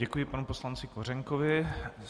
Děkuji panu poslanci Kořenkovi.